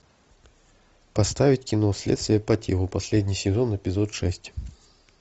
поставить кино следствие по телу последний сезон эпизод шесть